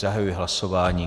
Zahajuji hlasování.